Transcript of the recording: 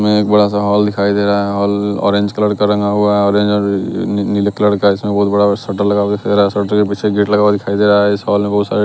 में एक बड़ा सा हॉल दिखाई दे रहा है हॉल ऑरेंज कलर का रंगा हुआ ऑरेंज नी-नीले कलर का इसमें बहोत बड़ा शटर लगा हुआ शटर के पीछे गेट लगा हुआ दिखाई दे रहा है इस हॉल में बहोत सारे --